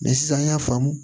sisan an y'a faamu